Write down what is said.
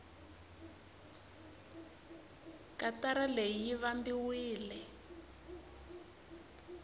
katara leyi yi vambiwile